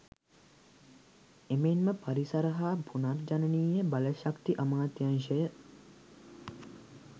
එමෙන්ම පරිසර හා පුනර්ජනනීය බලශක්ති අමාත්‍යාංශය